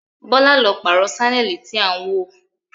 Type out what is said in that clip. Bọ́lá ló pààrọ̀ sánẹ́ẹ̀lì tí à ń wò